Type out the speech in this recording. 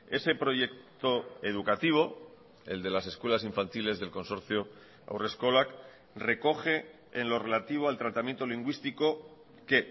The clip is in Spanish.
ese proyecto educativo el de las escuelas infantiles del consorcio haurreskolak recoge en lo relativo al tratamiento lingüístico que